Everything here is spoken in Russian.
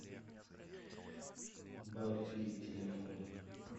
бафи телефон